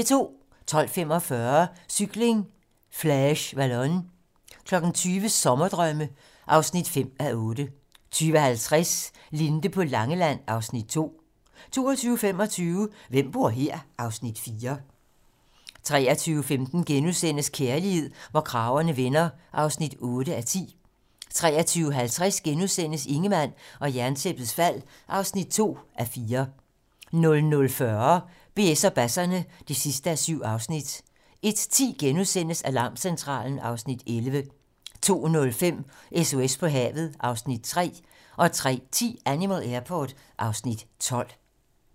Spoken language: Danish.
12:45: Cykling: Flèche Wallonne 20:00: Sommerdrømme (5:8) 20:50: Linde på Langeland (Afs. 2) 22:25: Hvem bor her? (Afs. 4) 23:15: Kærlighed, hvor kragerne vender (8:10)* 23:50: Ingemann og Jerntæppets fald (2:4)* 00:40: BS og basserne (7:7) 01:10: Alarmcentralen (Afs. 11)* 02:05: SOS på havet (Afs. 3) 03:10: Animal Airport (Afs. 12)